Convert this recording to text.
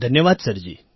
ધન્યવાદ સરજી